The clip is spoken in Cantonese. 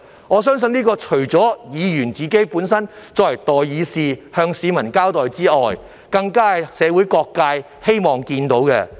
我相信，這不單是作為代議士的議員須向市民有所交代，更是社會各界所希望看見的。